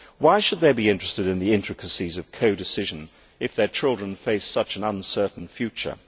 Why should they be interested in the intricacies of codecision if their children face such an uncertain future?